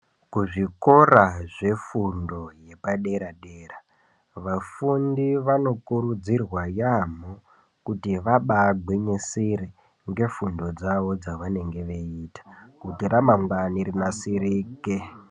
Kuzvikora zvefundo yepadera dera vafundi vanokurudzirwa yamho kuti vabagwinyisire ngefundo dzavo dzavanenge veiita kuti ramangwani rinasirike .